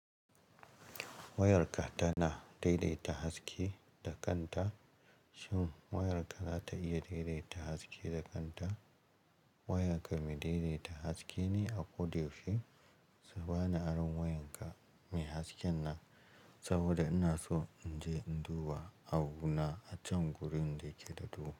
Wayarka tana daidaita haske da kanta. Shin wayarka za ta iya daidaita haske da kanta? Wayarka mai daidaita haske ne a ko da yaushe. Kabani aron wayarka mai hasken nan saboda ina so in je in duba abuna acan gurin da yake da duhu.